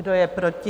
Kdo je proti?